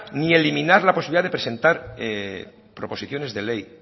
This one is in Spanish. ni eliminar la posibilidad de presentar proposiciones de ley